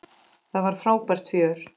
Það var frábært fjör.